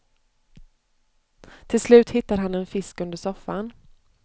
Till slut hittar han en fisk under soffan.